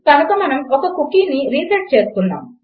కనుక మనము ఒక కుకీ రిసెట్ చేస్తున్నాము